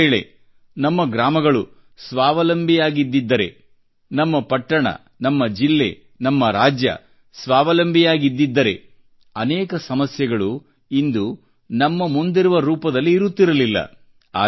ಒಂದುವೇಳೆ ನಮ್ಮ ಗ್ರಾಮಗಳು ಸ್ವಾವಲಂಬಿಯಾಗಿದ್ದಿದ್ದರೆ ನಮ್ಮ ಪಟ್ಟಣ ನಮ್ಮ ಜಿಲ್ಲೆ ನಮ್ಮ ರಾಜ್ಯ ಸ್ವಾವಲಂಬಿಯಾಗಿದ್ದಿದ್ದರೆ ಅನೇಕ ಸಮಸ್ಯೆಗಳು ಇಂದು ನಮ್ಮ ಮುಂದಿರುವ ರೂಪದಲ್ಲಿ ಇರುತ್ತಿರಲಿಲ್ಲ